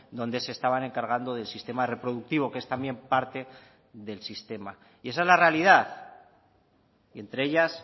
donde se estaban encargando del sistema reproductivo que es también parte del sistema y esa es la realidad y entre ellas